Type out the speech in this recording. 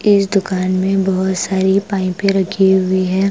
इस दुकान में बहुत सारी पाइपें रखी हुई है ।